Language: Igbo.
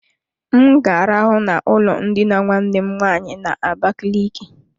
M ga arahụ na ụlọ ndina nwanne m nwaanyị na-abaliki.